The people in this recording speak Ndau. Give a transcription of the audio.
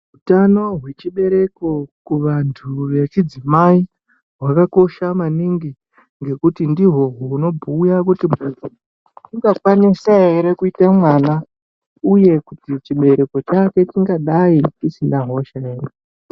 Utano hwechibereko kuvantu hwechidzimai hwakakosha maningi nekuti ndihwo hunobhuya kuti hayi muntu ungakwanise kuite mwana ere uye chibereko chakwe chingadai chisina hosha here.